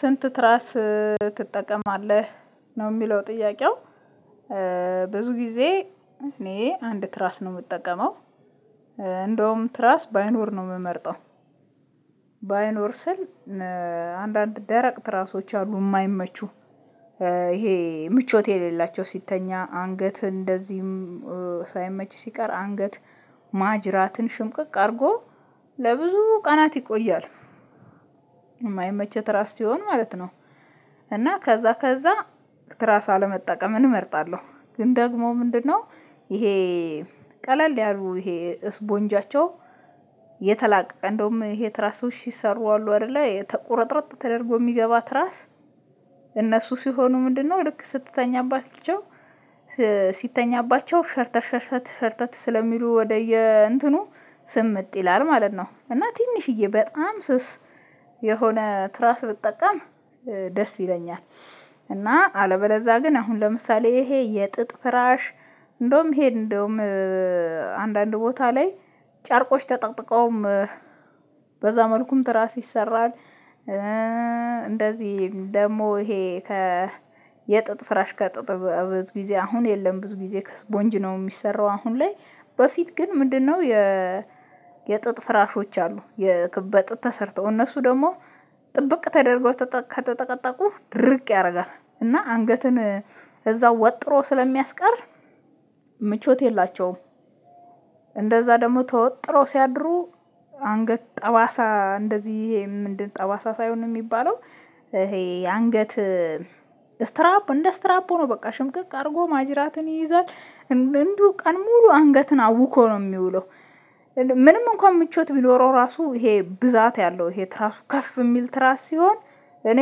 ስንት ትራስ ትጠቀማለህ ነው የሚለው ጥያቄው። ብዙ ጊዜ እኔ አንድ ትራስ ነው የምጠቀመው። እንደውም ትራስ ባይኖር ነው የምመርጠው። ባይኖር ስል አንዳንድ ደረቅ ትራሶች አሉ የማይመቹ። ይሄ ምቾት የሌላቸው ሲተኛ አንገት እንደዚህም ሳይመች ሲቀር አንገት ማጅራትን ሽምቅቅ አድርጎ ለብዙ ቀናት ይቆያል። የማይመቸ ትራስ ሲሆን ማለት ነው። እና ከዛ ከዛ ትራስ አለመጠቀምን እመርጣለሁ። ግን ደግሞ ምንድነው? ይሄ ቀለል ያሉ ይሄ ስፖንጃቸው የተላቀቀ እንደውም የትራሶች ሲሰሩ አሉ አይደለ ቁርጥርጥ ተደርጎ የሚገባ ትራስ እነሱ ሲሆኑ ምንድነው? ልክ ስትተኛባቸው ሲተኛባቸው ሸርተር፣ ሸርተር፣ ሸርተር ስለሚሉ ወደየእንትኑ ስምጥ ይላል ማለት ነው። እና ትንሽዬ በጣም ስስ የሆነ ትራስ ብጠቀም ደስ ይለኛል። እና አለበለዛ ግን አሁን ለምሳሌ ይሄ የጥጥ ፍራሽ እንደውም ሄድ እንደውም አንዳንድ ቦታ ላይ ጨርቆች ተጠቅጥቀውም በዛ መልኩም ትራስ ይሰራል። እንደዚህ ደግሞ ይሄ ከ የጥጥ ፍራሽ ከጥጥ ብዙ ጊዜ አሁን የለም። ብዙ ጊዜ ከስፖንጅ ነው የሚሰራው አሁን ላይ በፊት ግን ምንድነው የ የጥጥ ፍራሾች አሉ። በጥጥ ተሰርተው እነሱ ደግሞ ጥብቅ ተደርጎ ከተጠቀጠቁ ድርቅ ያደርጋል እና አንገትን እዛው ወጥሮ ስለሚያስቀር ምቾት የላቸውም። እንደዛ ደግሞ ተወጥሮ ሲያድሩ አንገት ጠባሳ እንደዚህ ይሄ ምንድን ጠባሳ ሳይሆን የሚባለው ይሄ አንገት ስትራፖ፣ እንደ ስትራፖ ነው በቃ። ሽምቅቅ አድርጎ ማጅራትን ይይዛል። እንዲሁ ቀን ሙሉ አንገትን አውኮ ነው የሚውለው። ምንም እንኳን ምቾት ቢኖረው ራሱ፣ ይሄ ብዛት ያለው ይሄ ትራሱ ከፍ የሚል ትራስ ሲሆን እኔ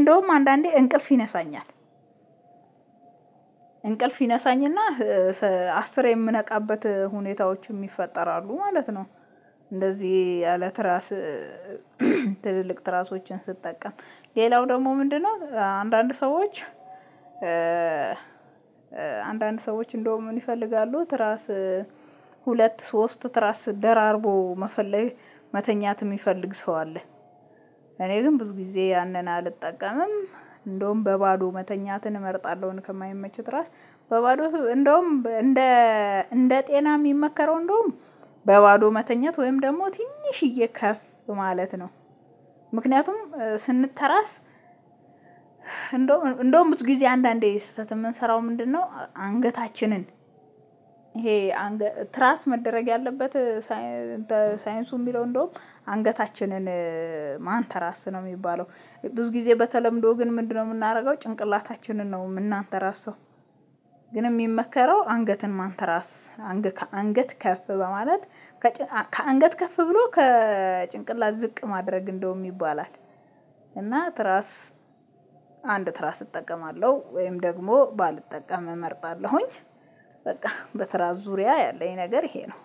እንደውም አንዳንዴ እንቅልፍ ይነሳኛል። እንቅልፍ ይነሳኝ እና አስሬ የምነቃበት ሁኔታዎችም ይፈጠራሉ ማለት ነው። እንደዚህ ያለ ትራስ ትልልቅ ትራሶችን ስትጠቀም። ሌላው ደግሞ ምንድነው አንዳንድ ሰዎች አንዳንድ ሰዎች እንደውም ምን ይፈልጋሉ? ትራስ ሁለት ሶስት ትራስ ደራርቦ መተኛት የሚፈልግ ሰው አለ። እኔ ግን ብዙ ጊዜ ያንን አልጠቀምም። እንደውም በባዶ መተኛትን እመርጣለሁ ከማይመች ትራስ። እንደውም እንደ ጤና የሚመከረው እንደውም በባዶ መተኛት ወይም ደግሞ ትንሽዬ ከፍ ማለት ነው። ምክንያቱም ስንተራስ እንደውም ብዙ ጊዜ አንዳንዴ ስህተት የምንሰራው ምንድነው አንገታችንን ይሄ ትራስ መደረግ ያለበት በሳይንሱ የሚለው እንደውም አንገታችንን ማንተራስ ነው የሚባለው። ብዙ ጊዜ በተለምዶ ግን ምንድነው የምናደርገው ጭንቅላታችንን ነው የምናንተራሰው። ግን የሚመከረው አንገትን ማንተራስ፣ ከአንገት ከፍ በማለት ከአንገት ከፍ ብሎ ከጭንቅላት ዝቅ ማድረግ እንደውም ይባላል፣ እና ትራስ አንድ ትራስ እጠቀማለሁ። ወይም ደግሞ ባልጠቀም እመርጣለሁኝ፣ በቃ በትራ ዙሪያ ያለኝ ነገር ይሄ ነው።